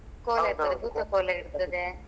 ಕೋಲ ಇರ್ತದೆ ಭೂತ ಕೋಲ ಇರ್ತದೆ.